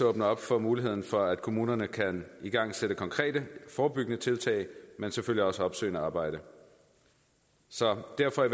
åbne op for muligheden for at kommunerne kan igangsætte konkrete forebyggende tiltag men selvfølgelig også opsøgende arbejde så derfor er